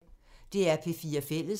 DR P4 Fælles